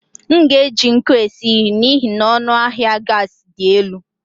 M ga-eji nkụ esi nri n'ihi na ọnụ ahịa gas dị elu.